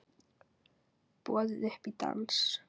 Boðið upp í dans